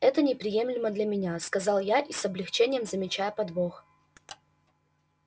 это неприемлемо для меня сказал я и с облегчением замечая подвох